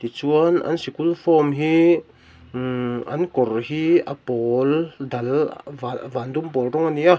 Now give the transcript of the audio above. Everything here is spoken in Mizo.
chuan an sikul hi umm an kawr hi a pawl dal van van dum pawl rawng a ni a.